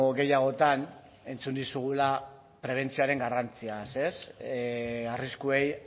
gehiagotan entzun dizugula prebentzioaren garrantziaz arriskuei